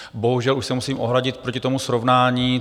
Bohužel už se musím ohradit proti tomu srovnání.